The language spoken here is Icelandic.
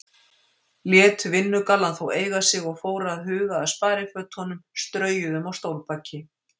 Lét vinnugallann þó eiga sig og fór að huga að sparifötunum, straujuðum á stólbaki.